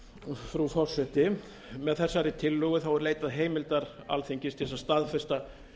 frú forseti með þessari tillögu er leitað heimildar alþingis til að staðfesta